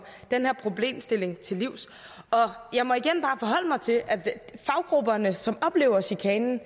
den her problemstilling til livs og jeg må igen bare forholde mig til at faggrupperne som oplever chikanen